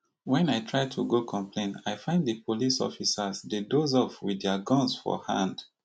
wen i try to complain i find di police officers dey doze off wit dia guns for hand